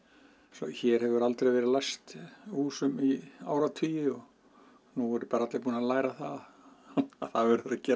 hér hefur aldrei verið læst húsum í áratugi og nú eru allir bara búnir að læra það að